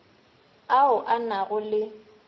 ao a na go le